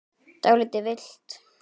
Dálítið villt!